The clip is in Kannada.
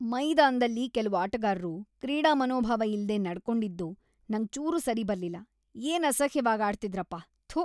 ಮೈದಾನ್ದಲ್ಲಿ ಕೆಲ್ವು ಆಟಗಾರ್ರು ಕ್ರೀಡಾಮನೋಭಾವ ಇಲ್ದೇ ನಡ್ಕೊಂಡಿದ್ದು ನಂಗ್‌ ಚೂರೂ ಸರಿಬರ್ಲಿಲ್ಲ.. ಏನ್‌ ಅಸಹ್ಯವಾಗ್‌ ಆಡ್ತಿದ್ರಪ.. ಥು.